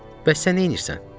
Bəs sən neynirsən?"